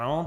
Ano.